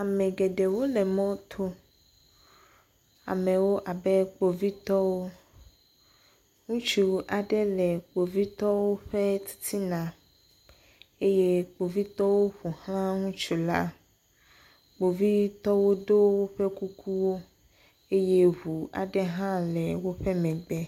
Ame geɖewo le mɔto, amewo abe kpovitɔwo, ŋutsu aɖe le kpovitɔwo ƒe titiana eye kpovitɔwo ƒo xla ŋutsu la, kpovitɔwo ɖo woƒe kukuwo eye ŋu aɖe hã le woƒe megbe.